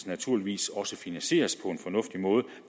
naturligvis også finansieres på en fornuftig måde